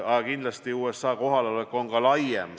Aga kindlasti USA kohalolek on ka laiem.